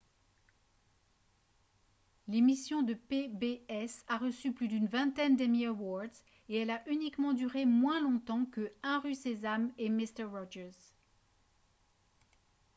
l'émission de pbs a reçu plus d'une vingtaine d'emmy awards et elle a uniquement duré moins longtemps que 1 rue sésame et mister rogers